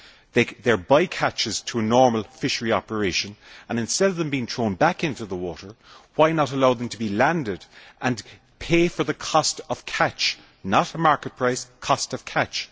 They are by catches to normal fishery operations and instead of them being thrown back into the water, why not allow them to be landed and pay for the cost of catch not a market price, but the cost of catch.